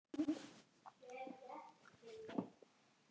Spurðu bara Bjarna Ara!